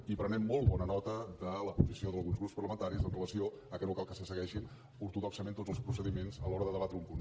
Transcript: i prenem molt bona nota de la posició d’alguns grups parlamentaris amb relació a que no cal que se segueixin ortodoxament tots els procediments a l’hora de debatre un punt